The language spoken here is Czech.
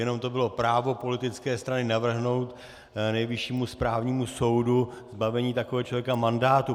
Jenom to bylo právo politické strany navrhnout Nejvyššímu správnímu soudu zbavení takového člověka mandátu.